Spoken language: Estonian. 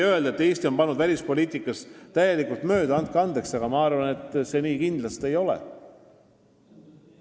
Öelda, et Eesti on välispoliitikas täielikult mööda pannud – andke andeks, aga ma arvan, et nii see kindlasti ei ole.